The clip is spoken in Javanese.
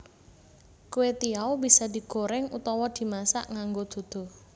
Kwetiau bisa digoreng utawa dimasak nganggo duduh